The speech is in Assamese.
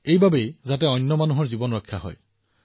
কেৱল মানুহৰ জীৱন ৰক্ষা কৰি আছে